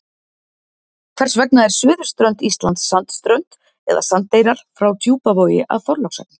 Hvers vegna er suðurströnd Íslands sandströnd eða sandeyrar frá Djúpavogi að Þorlákshöfn?